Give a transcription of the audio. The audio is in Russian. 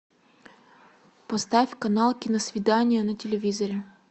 поставь канал киносвидание на телевизоре